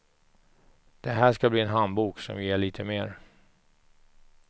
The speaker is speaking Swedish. Det här ska bli en handbok som ger lite mer.